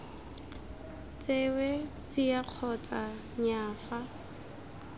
tsewe tsia kgotsa nnyaa fa